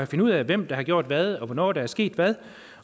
finde ud af hvem der har gjort hvad og hvornår der er sket hvad